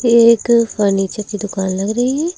ये एक फर्नीचर की दुकान लग रही है।